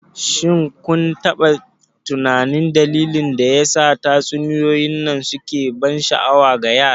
shin kun taɓa tunanin dalilin da yasa tatsuniyoyin nan suke ban sha'awa ga yara?